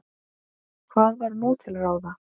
Hvað var nú til ráða?